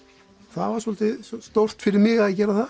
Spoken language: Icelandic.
það var svolítið stórt fyrir mig að gera það